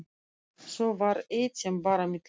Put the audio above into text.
Þó var eitt sem bar á milli.